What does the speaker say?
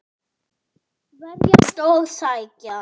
Verjast og sækja.